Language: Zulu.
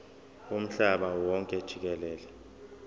womhlaba wonke jikelele